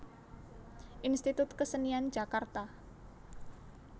Institut Kesenian Jakarta